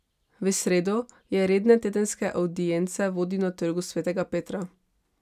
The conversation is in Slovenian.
V sredo je redne tedenske avdience vodil na Trgu Svetega Petra.